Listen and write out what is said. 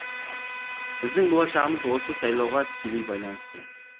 біздің болашағымыз осы сайлауға тікелей байланысты